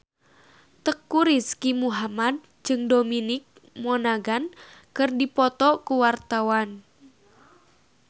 Teuku Rizky Muhammad jeung Dominic Monaghan keur dipoto ku wartawan